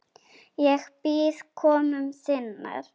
Ég bíð komu þinnar.